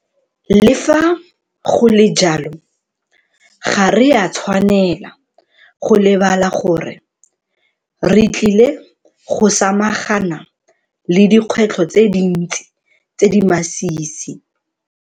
Le fa go le jalo, ga re a tshwanela go lebala gore re tlile go samagana le dikgwetlho tse dintsi tse di masisi.